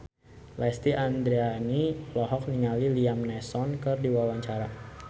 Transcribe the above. Lesti Andryani olohok ningali Liam Neeson keur diwawancara